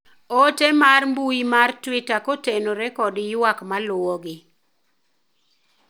ote mar mbui mar twita kotenore kod ywak maluwogi